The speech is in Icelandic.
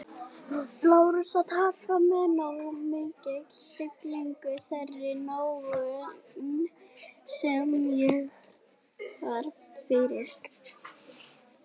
Lárus, að taka með nógu mikilli stillingu þeirri móðgun, sem ég varð fyrir